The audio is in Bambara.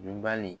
Dunbali